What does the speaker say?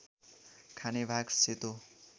खाने भाग सेतो